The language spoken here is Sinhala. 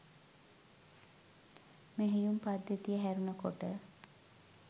මෙහෙයුම් පද්ධතිය හැරුන කොට